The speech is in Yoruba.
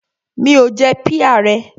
Mi ò jẹ píà rẹ.